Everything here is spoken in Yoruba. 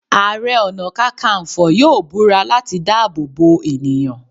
Àrẹ-ọ̀nà-kákanfọ̀ yóò búra láti dáàbò bo ènìyàn.